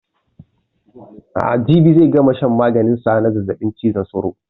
Jibi zai gama shan maganin sa na zazzaɓin cizon sauro